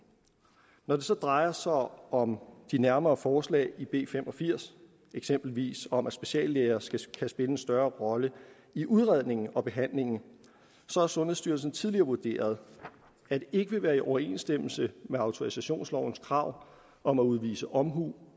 når det så drejer sig om om de nærmere forslag i b fem og firs eksempelvis om at speciallæger skal skal spille en større rolle i udredningen og behandlingen har sundhedsstyrelsen tidligere vurderet at det ikke vil være i overensstemmelse med autorisationslovens krav om at udvise omhu